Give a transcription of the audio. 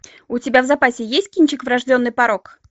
у тебя в запасе есть кинчик врожденный порок